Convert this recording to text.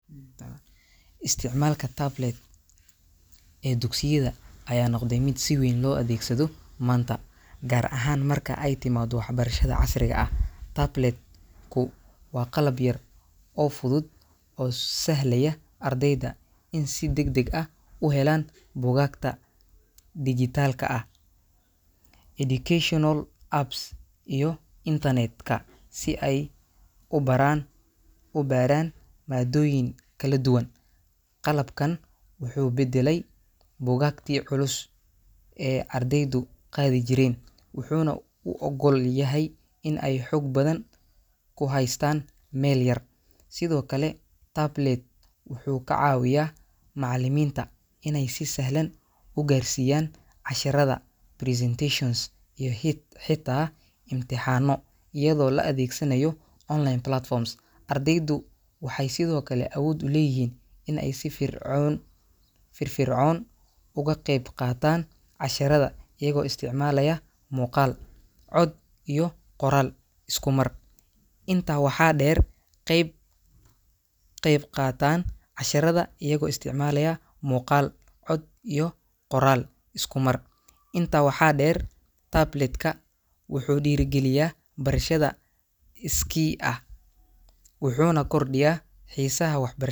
Isticmaalka tablet ee dugsiyada ayaa noqday mid si weyn loo adeegsado maanta, gaar ahaan marka ay timaado waxbarashada casriga ah. Tablet-ku waa qalab yar oo fudud oo sahlaya ardayda in ay si degdeg ah u helaan buugaagta dijitaalka ah, educational apps, iyo internet-ka si ay u baran u baaraan maaddooyin kala duwan. Qalabkan wuxuu beddelay buugaagtii culus ee ardaydu qaadi jireen, wuxuuna u oggol yahay in ay xog badan ku haystaan meel yar. Sidoo kale, tablet wuxuu ka caawiyaa macallimiinta inay si sahlan u gaarsiiyaan casharrada, presentations, iyo hit xitaa imtixaanno, iyadoo la adeegsanayo online platforms. Ardaydu waxay sidoo kale awood u leeyihiin in ay si fircon firfircoon uga qayb qaataan casharrada iyagoo isticmaalaya muuqaal, cod, iyo qoraal isku mar. Intaa waxaa dheer, qeeb qeeb qaataan casharada iyago isticmalaya muuqaal, cod, iyo qoral iskumar Intaa waxa der tablet-ka wuxuu dhiirrigeliyaa barashada iskii ah, wuxuuna kordhiyaa xiisaha waxbarash.